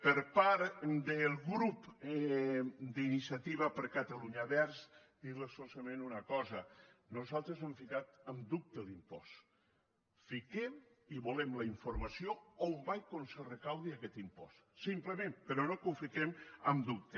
per part del grup d’iniciativa per catalunya verds dirlos solament una cosa nosaltres no hem ficat en dubte l’impost fiquem i volem la informació d’on va i on se recapta aquest impost simplement però no ho fi quem en dubte